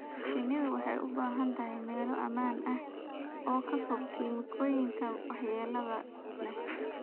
Shinnidu waxay u baahan tahay meelo ammaan ah oo ka fog kiimikooyinka waxyeellada leh.